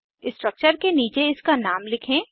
structure के नीचे इसका नाम लिखें